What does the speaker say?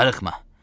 Darıxma.